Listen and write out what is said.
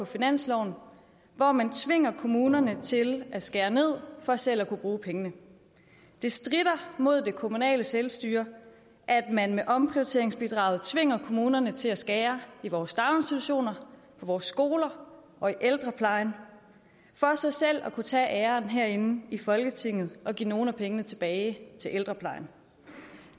finansloven hvor man tvinger kommunerne til at skære ned for selv at kunne bruge pengene det strider mod det kommunale selvstyre at man med omprioriteringsbidraget tvinger kommunerne til at skære i vores daginstitutioner på vores skoler og i ældreplejen for så selv at kunne tage æren herinde i folketinget og give nogle af pengene tilbage til ældreplejen